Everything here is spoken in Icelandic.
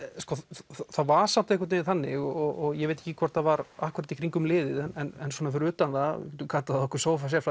það var samt einhvern vegin þannig og ég veit ekki hvort það var akkúrat í kringum liðið en svona fyrir utan það þú getur kallað okkur